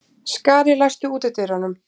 Skari, læstu útidyrunum.